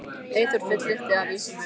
Eyþór fullyrti að vísan væri eftir þá